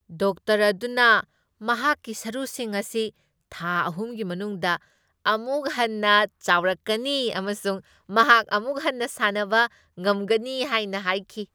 Doctor ꯑꯗꯨꯅ ꯃꯍꯥꯛꯀꯤ ꯁꯔꯨꯁꯤꯡ ꯑꯁꯤ ꯊꯥ ꯑꯍꯨꯝꯒꯤ ꯃꯅꯨꯡꯗ ꯑꯃꯨꯛ ꯍꯟꯅ ꯆꯥꯎꯔꯛꯀꯅꯤ ꯑꯃꯁꯨꯡ ꯃꯍꯥꯛ ꯑꯃꯨꯛ ꯍꯟꯅ ꯁꯥꯟꯅꯕ ꯉꯝꯒꯅꯤ ꯍꯥꯏꯅ ꯍꯥꯏꯈꯤ꯫